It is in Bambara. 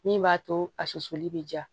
Min b'a to a susuli bɛ ja